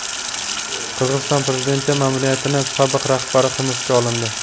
Qirg‘iziston prezidenti ma’muriyatining sobiq rahbari hibsga olindi.